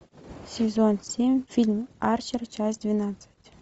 сезон семь фильм арчер часть двенадцать